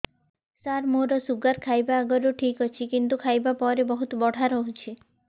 ସାର ମୋର ଶୁଗାର ଖାଇବା ଆଗରୁ ଠିକ ଅଛି କିନ୍ତୁ ଖାଇବା ପରେ ବହୁତ ବଢ଼ା ରହୁଛି